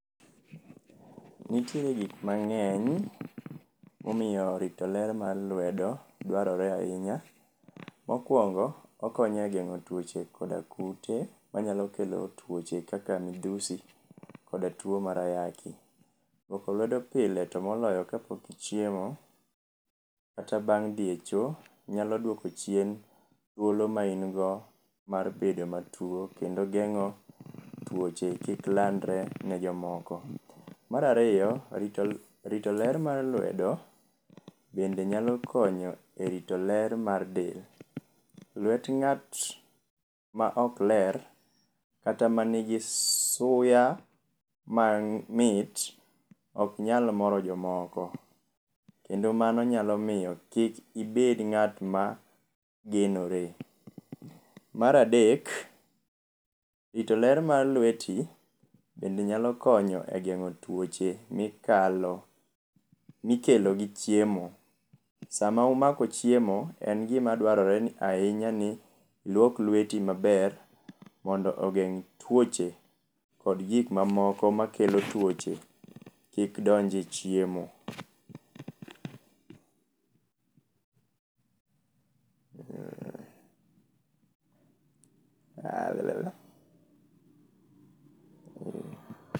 Nitiere gik mang'eny momiyo rito ler mar lwedo dwarore ahinya. Mokwongo okonyo e geng'o tuoche koda kute manyalo kelo tuoche kaka midhusi koda tuo mar ayaki. Lwoko lwedo pile to moloyo kapok ichiemo kata bang' dhi e cho nyalo dwoko chien olo mani go mar bedo matuo. Kendo geng'o tuoche kik landre ne jomoko. Marariyo, rito ler mar lwedo bende nyalo konyo e rito ler mar del. Lwet ng'at ma ok ler kata ma nigi suya mamit ok nyal moro jomoko. Kendo mano nyalo miyo kik ibed ng'at ma genore. Maradek, rito ler mar lweti bende nyalo konyo e geng'o tuoche mikalo mikelo gi chiemo. Sama umako chiemo, en gima dwarore ni ahinya ni iluok lweti maber mondo ogeng' tuoche kod gik mamoko makelo tuoche kik donje chiemo. Eeh, Urh.